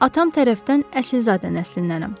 Mən atam tərəfdən əsilzadə nəslindənik.